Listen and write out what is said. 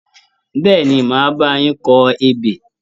Bẹ́ẹ̀ni, màá bá a yín kọ ebè.